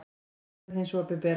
Viðbrögð hins opinbera